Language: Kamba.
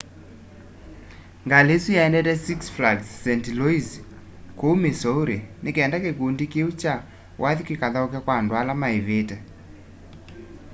ngalĩ ĩsũ yaendete six flags st louis kũũ missouri nĩ kenda kĩkũndĩ kĩũ kya wathĩ kĩkathaũke kwa andũ ala maĩvĩte